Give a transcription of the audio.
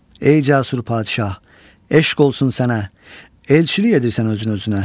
Ey cəsur padşah, eşq olsun sənə, elçilik edirsən özünü-özünə.